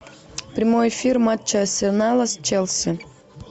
прямой эфир матча арсенала с челси